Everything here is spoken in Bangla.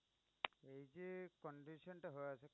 এই যে condition টা